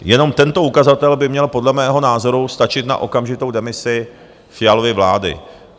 Jenom tento ukazatel by měl podle mého názoru stačit na okamžitou demisi Fialovy vlády.